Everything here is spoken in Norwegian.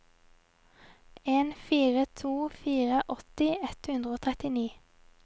en fire to fire åtti ett hundre og trettini